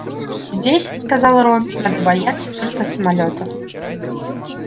здесь сказал рон надо бояться только самолётов